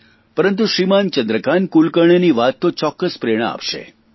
પરંતુ શ્રીમાન ચંદ્રકાન્ત કુલકર્ણીની વાત તો ચોક્કસ પ્રેરણા આપશે